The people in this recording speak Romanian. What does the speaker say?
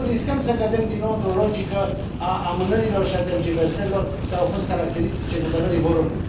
dacă nu, riscăm să cădem din nou într o logică a amânărilor și a tergiversărilor care au fost caracteristice guvernării Voronin.